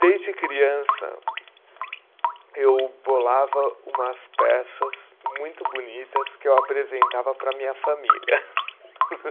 Desde criança, eu bolava umas peças muito bonitas que eu apresentava para a minha família.